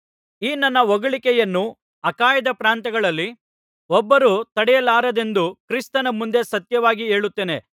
ಈ ನನ್ನ ಹೊಗಳಿಕೆಯನ್ನು ಅಖಾಯದ ಪ್ರಾಂತ್ಯಗಳಲ್ಲಿ ಒಬ್ಬರೂ ತಡೆಯಲಾರರೆಂದು ಕ್ರಿಸ್ತನ ಮುಂದೆ ಸತ್ಯವಾಗಿ ಹೇಳುತ್ತೇನೆ